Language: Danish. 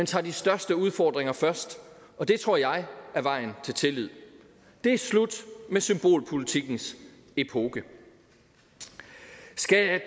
tager de største udfordringer først og det tror jeg er vejen til tillid det er slut med symbolpolitikkens epoke skal